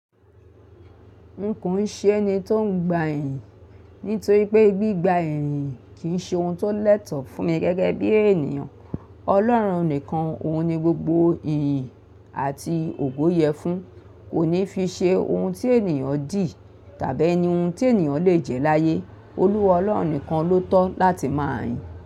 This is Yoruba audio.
Nko ṣe ni ton gba ẹ̀yin nítorí pé gbígba ẹ̀yin kìí ṣe ohun tó lẹ́tọ fún mi gẹ́gẹ́bí ènìyàn. Ọlọ́run nìkan, òun ni gbogbo ẹ̀yin àti ògo yẹ fún, kò ní fi ṣe ohun tí ènìyàn di tàbí ní ohun tí ènìyàn lè jẹ l'áyé. Olúwa Ọlọ́run nìkan ló tọ́ láti má yìn.